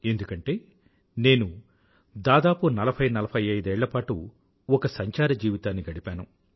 ఎందుకంటే నేను దాదాపు 4045ఏళ్ళపాటు ఒక సంచార జీవితాన్ని గడిపాను